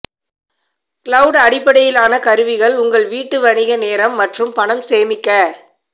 cloud அடிப்படையிலான கருவிகள் உங்கள் வீட்டு வணிக நேரம் மற்றும் பணம் சேமிக்க